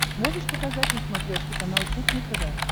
можешь показать на смотрешке канал кухня тв